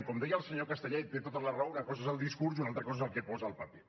com deia el senyor castellà i té tota la raó una cosa és el discurs i una altra cosa és el que posa el paper